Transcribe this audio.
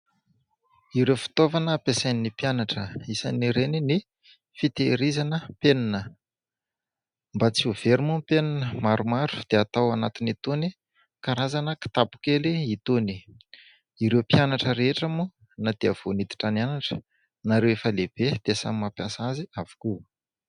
Ireo fitaovana ampiasain'ny mpianatra, isan'ireny ny fitehirizana penina. Mba tsy ho very moa penina maromaro dia atao anatiny itony karazana kitapo kely itony. Ireo mpianatra rehetra moa na dia vao niditra nianatra na Ireo efa lehibe dia samy mampiasa azy avokoa.